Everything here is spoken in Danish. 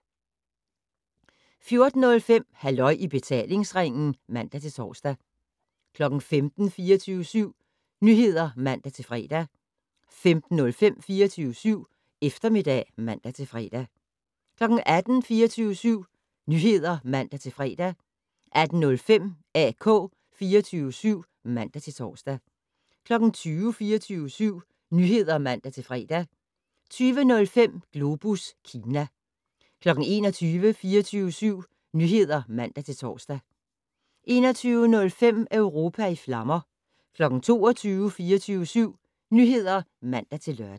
14:05: Halløj i betalingsringen (man-tor) 15:00: 24syv Nyheder (man-fre) 15:05: 24syv Eftermiddag (man-fre) 18:00: 24syv Nyheder (man-fre) 18:05: AK 24syv (man-tor) 20:00: 24syv Nyheder (man-fre) 20:05: Globus Kina 21:00: 24syv Nyheder (man-tor) 21:05: Europa i flammer 22:00: 24syv Nyheder (man-lør)